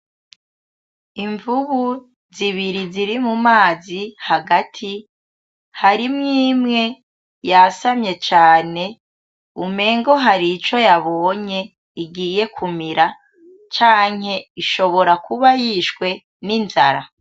Imvubu z'ibiri ziri mumazi hagati harimw'imwe yasamye cane umengo harico yabonye igiye kumira canke ushobora kuba yishwe n'inzara.